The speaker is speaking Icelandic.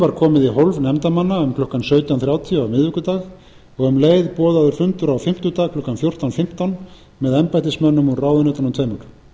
var komið í hólf nefndarmanna um klukkan sautján þrjátíu á miðvikudag og um leið boðaður fundur á fimmtudag klukkan fjórtán fimmtán með embættismönnum úr ráðuneytunum tveimur